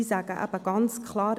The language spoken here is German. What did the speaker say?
Sie sagen eben ganz klar: